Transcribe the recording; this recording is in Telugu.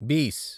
బీస్